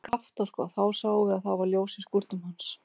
Skapta, sko, þá sáum við að það var ljós í skúrnum hans.